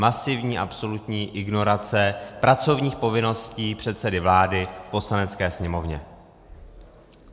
Masivní absolutní ignorace pracovních povinností předsedy vlády k Poslanecké sněmovně.